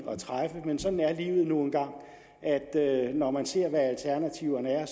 at træffe men sådan er livet nu engang at når man ser hvad alternativerne er